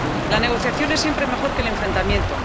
La negociación es siempre mejor que el enfrentamiento.